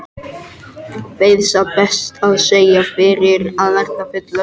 Kveið satt best að segja fyrir að verða fullorðinn.